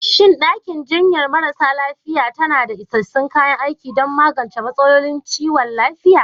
Shin ɗakin jinyar marasa lafiya tana da isassun kayan aiki don magance matsalolin kiwon lafiya?